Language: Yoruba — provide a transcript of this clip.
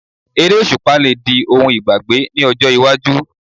Eré òṣùpá lè di ohun ìgbàgbé ní ọjọ́ iwájú